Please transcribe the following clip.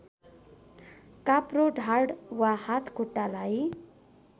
काप्रो ढाड वा हातखुट्टालाई